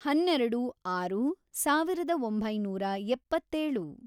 ಹನ್ನೆರೆಡು, ಆರು, ಸಾವಿರದ ಒಂಬೈನೂರ ಎಪ್ಪತ್ತೇಳು